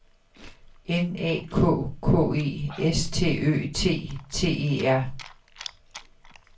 N A K K E S T Ø T T E R